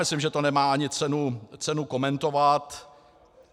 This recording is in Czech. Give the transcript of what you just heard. Myslím, že to ani nemá cenu komentovat.